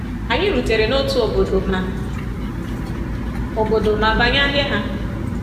Anyị rutere n’otu obodo ma obodo ma banye ahịa ha.